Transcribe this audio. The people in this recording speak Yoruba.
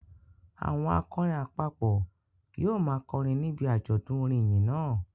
Àwọn akọrin àpapọ̀ yóò máa kọrin níbi àjọ̀dún orin ìyìn náà